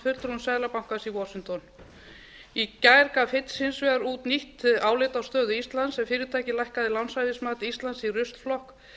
fulltrúum seðlabankans í washington í gær gaf eins hins vegar út nýtt álit á stöðu íslands en fyrirtækið lækkaði lánshæfismat íslands í ruslflokk